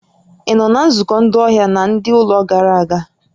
Ị nọ na nzukọ ndị ọhịa na ndị ụlọ gara aga?